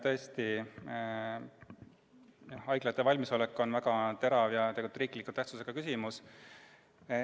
Tõesti, haiglate valmisolek on väga terav riikliku tähtsusega küsimus.